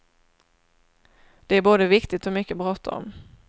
Det är både viktigt och mycket bråttom.